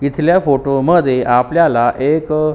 इथल्या फोटो मध्ये आपल्याला एक--